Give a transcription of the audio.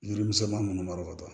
Yiri misɛnmanin ninnu malo ka bɔ